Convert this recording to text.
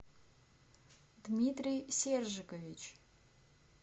дмитрий сержикович